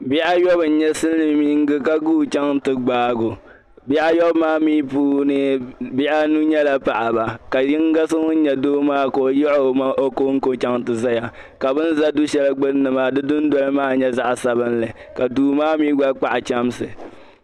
Bihi ayɔbu n- nyɛ Siliminga ka guui cbaŋ ti gbaai o, bihi ayɔbu maa puuni paɣiba nyɛla niriba anu ka do nyɛ zaɣ' yino ka yi o ko ti zaya, ka bɛ ni za du' shɛli gbuni maa du' noli zaɣ' sabinli ka kpahi chamsi.